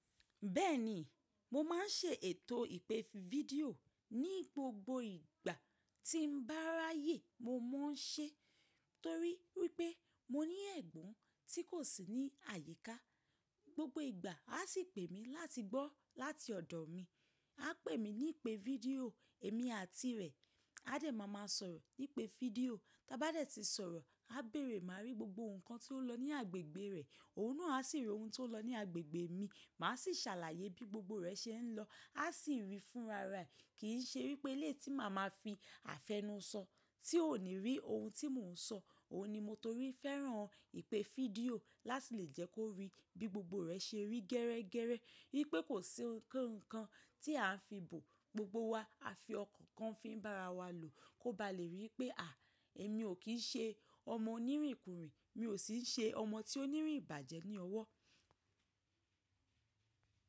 Bẹ́ẹ̀ni, mo máà ń ṣe ètò ìpè fídíò ní gbogbo ìgbà tí n bá ráyè mo máa ń ṣe torí pé mo ní ẹ̀gbọ́n tí kò sí ní àyíká. Gbogbo ìgbà a sì pè mí láti gbọ́ láti ọ̀dọ̀ mi. A pè mí ní ìpè fídíò èmi àti rẹ̀ a dẹ̀ ma máa sọ̀rọ̀ ní ìpè fídíò. Tí a bá dẹ̀ ti sọ̀rọ̀ a béèrè máa rí gbogbo ǹkan tí ó lọ ní agbègbè rẹ̀ òun náà sì rí ohun tí ó lọ ní agbègbè mi. Má sì ṣàlàyé bí gbogbo rẹ̀ ṣe ń lọ a sì ń rí i fúnra rẹ̀ kì í ṣe wípé lé tí màá ma fi àfẹ́nusọ tí ò ní rí ohun tí mò ń sọ. Òhun ni mo torí fẹ́ràn ìpè fídíò láti lè jẹ́ kó rí bí gbogbo rẹ̀ ṣe rí gẹrẹ́gẹrẹ́ wípé kò sí nǹkan tí à ń fi bò gbogbo wa. A fi ọkàn kan fi ń bá ara wa lò kó bá lè rí i pé à èmi ò kí ń ṣe ọmọ onírìnkùnrin mi ò sì ń ṣe ọmọ tí óní rin ìbàjẹ́ ní ọwọ́.